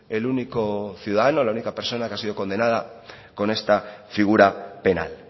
el único ciudadano la única persona que ha sido condenada con este figura penal